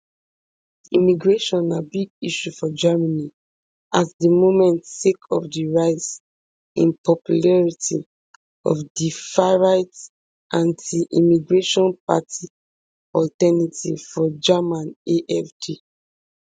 immigration na big issue for germany at di moment sake of di rise in popularity of di farright antiimmigration party alternative for germany afd